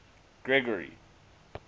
gregory